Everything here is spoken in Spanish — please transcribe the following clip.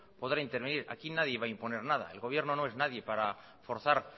podrá intervenir aquí nadie va a imponer nada el gobierno no es nadie para forzar